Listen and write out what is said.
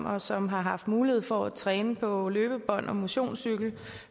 og som har mulighed for at træne på løbebånd og motionscykel